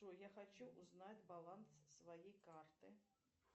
джой я хочу узнать баланс своей карты